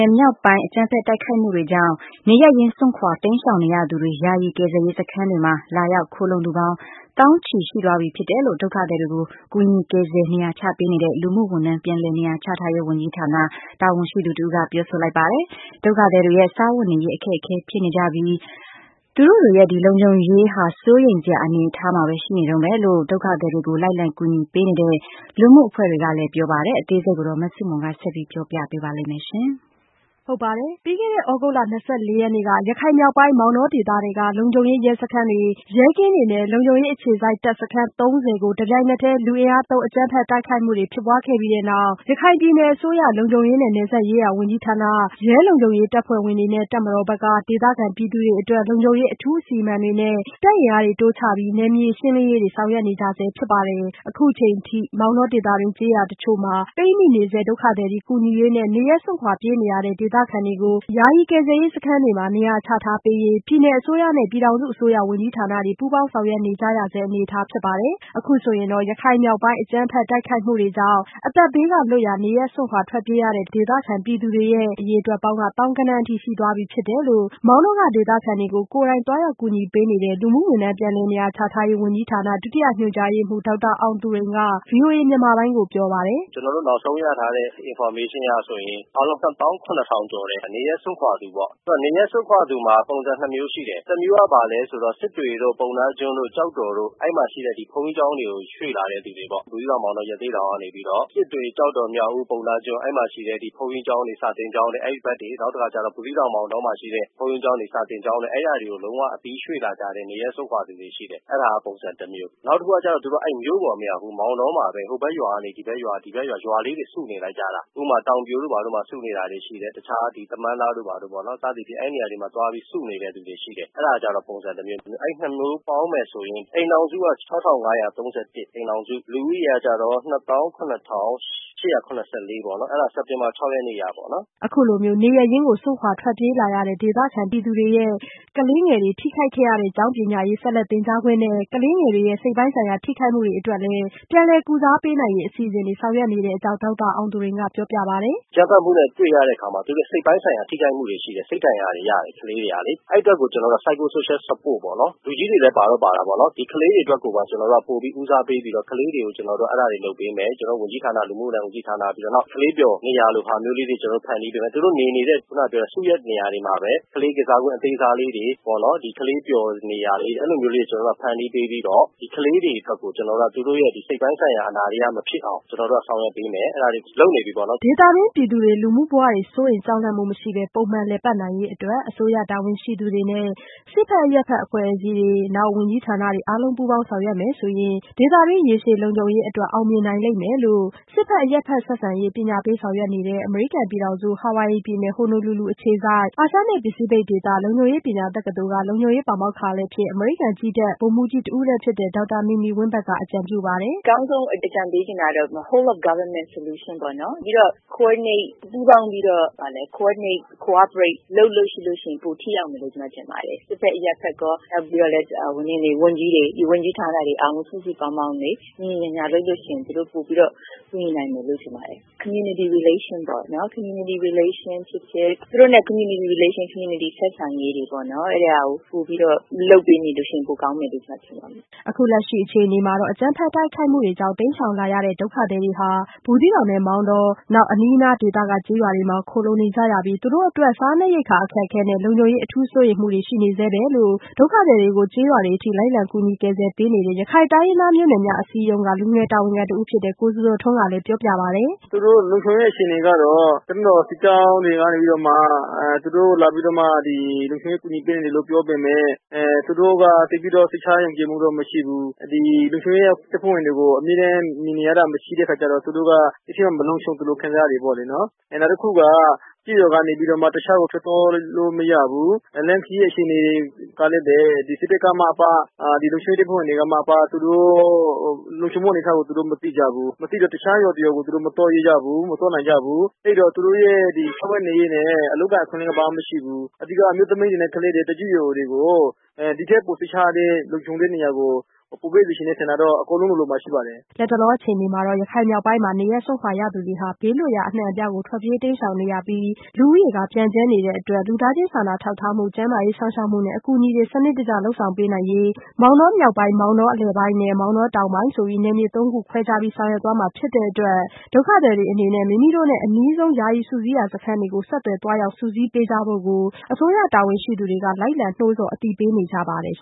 င်မြောက်ပိုင်း အကြမ်းဖက်တိုက်ခိုက်မှုတွေကြောင့် နေရပ်ရင်းစွန့်ခွာတိမ်းရှောင်နေရသူတွေ ယာယီကယ်ဆယ်ရေးစခန်းတွေမှာ လာရောက်ခိုလှုံသူပေါင်း သောင်းချီရှိသွားပြီဖြစ်တယ်လို့ ဒုက္ခသည်တွေကို ကူညီကယ်ဆယ် နေရာချပေးနေတဲ့ လူမှုဝန်ထမ်းပြန်လည် နေရာချထားရေးဝန်ကြီးဌာန တာဝန်ရှိသူတဦးက ပြောဆိုလိုက်ပါတယ်။ ဒုက္ခသည်တွေရဲ့ စားဝတ်နေရေးအခက်အခဲဖြစ်နေကြပြီး သူတို့ရဲ့လုံခြုံရေးဟာ စိုးရိမ်စရာအနေအထားမှာပဲ ရှိနေတုန်းပဲလို့ ဒုက္ခသည်တွေကို လိုက်လံကူညီပေးနေတဲ့ လူမှုအဖွဲ့တွေကလည်းပြောပါတယ်။ အသေးစိတ် မဆုမွန် ဆက်ပြောပြပါမယ်။ ပြီးခဲ့တဲ့သြဂုတ်လ ၂၄ရက်နေ့ က ရခိုင်မြောက်ပိုင်း မောင်တောဒေသထဲက လုံခြုံရေးရဲစခန်းတွေ ရဲကင်းတွေနဲ့ လုံခြုံရေးအခြေစိုက်တပ်စခန်း ၃၀ကို တပြိုင်နက်တည်း လူအင်အားသုံးအကြမ်းဖက်တိုက်ခိုက်မှုတွေဖြစ်ပွားခဲ့ပြီးတဲ့နောက် ရခိုင်ပြည်နယ် လုံခြုံရေးနဲ့ နယ်စပ်ရေးရာဝန်ကြီးဌာန၊ ရဲလုံခြုံရေးတပ်ဖွဲ့ဝင်တွေနဲ့ တပ်မတော်ဘက်က ဒေသခံပြည်သူတွေအတွက် လုံခြုံရေးအထူးအစီအမံတွေနဲ့ တပ်အင်အားတိုးချပြီး နယ်မြေရှင်းလင်းရေးတွေဆောင်ရွက်နေကြပါတယ်။ အခုအချိန်အထိ မောင်တောဒေသတွင်း ကျေးရွာတချို့မှာ ပိတ်မိနေဆဲ ဒုက္ခသည်တွေကို ကူညီရေးနဲ့ နေရပ်စွန့်ခွာပြေးနေရတဲ့ဒေသခံတွေကို ယာယီကယ်ဆယ်ရေးစခန်းတွေမှာ နေရာချထားပေးရေး ပြည်နယ်အစိုးရနဲ့ပြည်ထောင်စုအစိုးရဝန်ကြီးဌာနတွေပူးပေါင်းဆောင်ရွက်နေကြရဆဲအနေအထားဖြစ်ပါတယ်။ အခုဆိုရင်တော့ ရခိုင်မြောက်ပိုင်းအကြမ်းဖက်တိုက်ခိုက်မှုတွေကြောင့် အသက်ဘေးကလွတ်ရာ နေရပ်စွန့်ခွာထွက်ပြေးရတဲ့ ဒေသခံပြည်သူတွေရဲ့ အရေအတွက်ပေါင်းက သောင်းဂဏန်းအထိရှိသွားပြီဖြစ်တယ်လို့ မောင်တောက ဒေသခံတွေကို ကိုယ်တိုင်သွားရောက်ကူညီပေးနေတဲ့ လူမှုဝန်ထမ်းပြန်လည်နေရာချထားရေးဝန်ကြီးဌာန ဒုတိယညွှန်ကြားရေးမှူး ဒေါက်တာအောင်သူရိန်က ဗွီအိုအေမြန်မာပိုင်းကိုပြောပါတယ်။ “ကျနော်တို့ နောက်ဆုံးရထားတဲ့ information က ဆိုရင် အားလုံး ၂ သောင်း ၇ ထောင်ကျော်တယ်။ နေရပ်စွန့်ခွာသူပေါ့။ နေရပ်စွန့်ခွာသူမှာ ပုံစံ ၂ မျိုးရှိတယ်။ တစ်မျိုးက ဘာလဲဆိုတော့ စစ်တွေတို့၊ ပုဏ္ဏားကျွန်းတို့၊ ကျောက်တော်တို့၊ အဲဒီမှာရှိတဲ့ ဒီဘုန်းကြီးကျောင်းတွေကို ရွှေ့လာတဲ့သူတွေပေါ့။ ဘူးသီးတောင်၊ မောင်တော၊ ရသေ့တောင်ကနေပြီးတော့ စစ်တွေ၊ ကျောက်တော်၊ မြောက်ဦး၊ ပုဏ္ဏားကျွန်း အဲဒီမှာ ရှိတဲ့ ဒီ ဘုန်းကြီးကျောင်းတွေ၊ စာသင်ကျောင်းတွေ အဲဒီဘက်တွေ။ နောက်တစ်ခါကျတော့ ဘူးသီးတောင်၊ မောင်တောမှာ ရှိတဲ့ ဘုန်းကြီးကျောင်းတွေ၊ စာသင်ကျောင်းတွေ၊ အဲဒါတွေကို လုံးဝအပြီး ရွှေ့လာကြတဲ့ နေရပ်စွန့်ခွာသူတွေ ရှိတယ်။ အဲဒါက ပုံစံတစ်မျိုး။ နောက်တစ်ခုကကျတော့ သူတို့က အဲဒီ မြို့ပေါ်မရောက်ဘူူး။ မောင်တောမှာပဲ။ ဟိုဘက်ရွာကနေ ဒီဘက်ရွာ၊ ရွာလေးတွေစုနေလိုက်ကြတာ။ ဥပမာ တောင်ပြိုတို့ ဘာတို့မှာ စုနေတာတွေရှိတယ်။ တခြားဒီ သမန်းသားတို့ ဘာတို့ပေါ့နော်။ စသဖြင့် အဲဒီနေရာတွေမှာ သွားပြီးတော့ စုနေတဲ့သူတွေရှိတယ်။ အဲဒါကျတော့ ပုံစံတစ်မျိုး။ အဲဒီ ၂ မျိုးပေါင်းမယ်ဆိုရင် အိမ်ထောင်စုက ၆၅၃၁၊ လူဦးရေကကျတော့ ၂၇၈၇၄ ပေါ့နော်။ အဲဒါ စက်တင်ဘာ ၆ ရက်နေ့ကပေါ့။” အခုလို နေရပ်ရင်းကို စွန့်ခွာထွက်ပြေးလာရတဲ့ဒေသခံပြည်သူတွေရဲ့ ကလေးငယ်တွေ ထိခိုက်ခဲ့ရတဲ့ ကျောင်းပညာရေး ဆက်လက်သင်ကြားခွင့်နဲ့ ကလေးငယ်တွေရဲ့စိတ်ပိုင်းဆိုင်ရာထိခိုက်မှုတွေအတွက်လည်း ပြန်လည်ကုစားပေးနိုင်ရေး အစီအစဉ်တွေ ဆောင်ရွက်နေတဲ့အကြောင်း ဒေါက်တာအောင်သူရိန်ကပြောပြပါတယ်။ “အကြမ်းဖက်မှုနဲ့ တွေ့ရတဲ့အခါမှာ သူတို့ရဲ့ စိတ်ပိုင်းဆိုင်ရာ ထိခိုက်မှုတွေရှိတယ်။ စိတ်ဓာတ်ဒဏ်ရာတွေရတယ် တချို့ကလေးတွေကလေ။ အဲဒီအတွက်ကို ကျနော်တို့က Psycho-social support ပေါ့နော်။ လူကြီးတွေလည်း ပါတော့ပါတာပေါ့နော်။ ဒီကလေးတွေအတွက်ကိုပါ ကျနော်တို့က ပိုပြီးဦးစားပေးပြီးတော့ ကလေးတွေကို ကျနော်တို့က အဲဒါတွေ လုပ်ပေးမယ်။ ကျနော်တို့ လူမှုဝန်ထမ်းဝန်ကြီးဌာန၊ နောက် ကလေးပျော်နေရာတွေကို ဖန်တီးပေးမယ်။ သူတို့နေနေတဲ့ ခုနကပြောတဲ့ စုရပ်နေရာတွေမှာပဲ ကလေးကစားကွင်း အသေးစားလေးတွေပေါ့နော်။ ဒီကလေးပျော် နေရာလေးတွေ။ အဲဒီလိုမျိုးလေးတွေ ကျနော်တို့က ဖန်တီးပေးပြီးတော့ ဒီကလေးတွေအတွက်ကို ကျနော်တို့က သူတို့ရဲ့ စိတ်ပိုင်းဆိုင်ရာ အနာတရမဖြစ်အောင် ကျနော်တို့က ဆောင်ရွက်ပေးမယ်။ လုပ်နေပြီပေါ့နော်။” ဒေသတွင်း ပြည်သူတွေ လူမှုဘဝတွေ စိုးရိမ်ကြောက်လန့်မှုမရှိပဲ ပုံမှန်လည်ပတ်နိုင်ရေးအတွက် အစိုးရတာဝန်ရှိသူတွေနဲ့ စစ်ဘက် အရပ်ဘက်အဖွဲ့အစည်းတွေနဲ့ ဝန်ကြီးဌာနတွေ အားလုံးပူးပေါင်းဆောင်ရွက်မယ်ဆိုရင် ဒေသတွင်းရေရှည်လုံခြုံရေးအတွက် အောင်မြင်နိုင်လိမ့်မယ်လို့ စစ်ဘက်၊ အရပ်ဘက်ဆက်ဆံရေး ပညာပေးဆောင်ရွက်နေတဲ့ အမေရိကန်ပြည်ထောင်စု Hawaii ပြည်နယ် Honolulu အခြေစိုက် အာရှနဲ့ ပစိဖိတ်ဒေသ လုံခြုံရေးပညာ တက္ကသိုလ်က လုံခြုံရေးပါမောက္ခလည်းဖြစ်၊ အမေရိကန်ကြည်းတပ် ဗိုလ်မှူးကြီးတဦးလည်းဖြစ်တဲ့ ဒေါက်တာမီမီဝင်းဘတ်က အကြံပြုပါတယ်။ “အကောင်းဆုံးအကြံပေးချက်တာတော့ home of government solution ပေါ့နော်။ ပြီးတော့ coordinate ပူးပေါင်းပြီးတော့ coordinate, cooperate လုပ်လို့ရှိရင် ပိုပြီးတော့ ထိရောက်မယ်လို့ ကျမထင်ပါတယ်။ စစ်ဖက်အရပ်ဖက်ကော နောက်ပြီးတော့လည်း ဝန်ကြီးတွေ၊ ဝန်ကြီးဌာနတွေအားလုံးလည်း စုစုပေါင်းပေါင်း ညီညီညာညာ လုပ်လို့ရှိရင် သူတို့ ပိုပြီးတော့ ကူညီနိုင်မယ်လို့ ထင်ပါတယ်။ community relation ပေါ့နော်။ community relation ဖြစ်ဖြစ်၊ သူတို့နဲ့ community relation, community ဆက်ဆံရေးတွေကို ပိုပြီးတော့ လုပ်ပေးလို့ရှိရင် ပိုကောင်းမယ်လို့ ကျမထင်ပါတယ်။” အခုလက်ရှိအခြေအနေမှာတော့ အကြမ်းဖက်တိုက်ခိုက်မှုတွေကြောင့် တိမ်းရှောင်လာရတဲ့ ဒုက္ခသည်တွေဟာ ဘူးသီးတောင်၊ မောင်တောနဲ့ အနီးအနားဒေသတွေမှာ ခိုလှုံနေကြရပြီး သူတို့အတွက် စားနပ်ရိက္ခာအခက်အခဲနဲ့ လုံခြုံရေးအထူးစိုးရိမ်မှုတွေရှိနေဆဲပဲလို့ ဒုက္ခသည်တွေကို ကျေးရွာတွေအထိ လိုက်လံကူညီကယ်ဆယ်ပေးနေတဲ့ ရခိုင်တိုင်းရင်းသားမျိုးနွယ်များအစည်းအရုံးက လူငယ်ကတဦးဖြစ်တဲ့ ကိုဇော်ဇော်ထွန်းကပြောပါတယ်။ “သူတို့ လုံခြုံရေးအခြေအနေကတော့ တပ်မတော်စစ်ကြောင်းတွေကနေပြီးတော့မှ သူတို့လာပြီးတော့မှ ဒီ လုံခြုံရေးကူညီပေးနေတယ်လို့ ပြောပေမယ့် သူတို့က သိပ်ပြီးတော့ စိတ်ချယုံကြည်မှုတော့ မရှိဘူး။ ဒီ လုံခြုံရေးတပ်ဖွဲ့ဝင်တွေကို အမြဲတမ်းမြင်နေရတာ မရှိတဲ့အခါကျတော့ သူတို့က မလုံခြုံသလို ခံစားရတယ်ပေါ့။ နောက်တစ်ခုက ကျေးရွာကနေပြီးတော့ တခြားကို ထွက်သွားလို့ မရဘူး။ လမ်းခရီးအခြေအနေတွေကလည်းပဲ ဒီစစ်တပ်ကမှအပ ဒီလုံခြုံရေးတပ်ဖွဲ့ဝင်တွေကမှအပ သူတို့ လုံခြုံမှုအနေအထားကို သူတို့ မသိကြဘူး။ မသိတော့ တခြားရွာတစ်ရွာကို သူတို့ မသွားရဲကြဘူး။ မသွားနိုင်ကြဘူး။ အဲဒီတော့ သူတို့ရဲ့ ဒီစားဝတ်နေရေးနဲ့ အလုပ်အကိုင်အခွင့်အလမ်း ဘာမှမရှိဘူး။ အဓိက အမျိုးသမီးတွေနဲ့ ကလေးတွေ၊ သက်ကြီးရွယ်အိုတွေကို ဒီထက်ပို စိတ်ချရတဲ့ လုံခြုံတဲ့နေရာကို ပိုပေးစေချင်တဲ့ဆန္ဒတော့ အကုန်လုံးလိုလိုမှာ ရှိပါတယ်။ ” လတ်တလောအခြေအနေမှာတော့ ရခိုင်မြောက်ပိုင်းမှာ နေရပ်စွန့်ခွာရသူတွေဟာ ဘေးလွတ်ရာအနှံ့အပြားသို့ ထွက်ပြေး တိမ်းရှောင်နေကြပြီး လူဦးရေပျံ့ကြဲနေကြတဲ့အတွက် လူသားချင်းစာနာထောက်ထားမှု ကျန်းမာရေးစောင့်ရှောက်မှုနဲ့ အကူအညီများ စနစ်တကျ လုပ်ဆောင်ပေးနိုင်ရေးမောင်တောမြောက်ပိုင်း၊ မောင်တောအလယ်ပိုင်းနှင့် မောင်တောတောင်ပိုင်း နယ်မြေ ၃ ခု ခွဲခြားပြီး ဆောင်ရွက်သွားမှာဖြစ်တဲ့အတွက် ဒုက္ခသည်တွေအနေဖြင့် မိမိတို့နဲ့ အနီးဆုံး ယာယီစုစည်းရာ စခန်းတွေကို ဆက်သွယ်သွားရောက် စုစည်းပေးကြဖို့ကိုအစိုးရတာဝန်ရှိသူတွေက လိုက်လံနိုးဆော်အသိပေးနေကြပါတယ်။